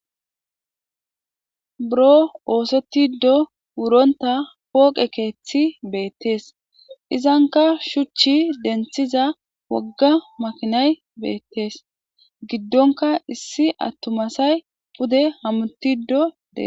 Buro osetidi wuronta poqe kethi betes izanka shuchu denthiza woga makinay betes gidonka issi atuma asay pude hamutidi betes